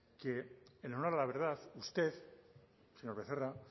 que en honor a la verdad usted señor becerra